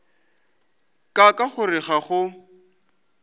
ka ka gore ga go